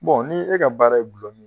ni e ka baara ye Gulɔmin